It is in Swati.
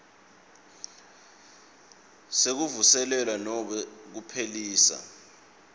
sekuvuselelwa nobe kuphelisa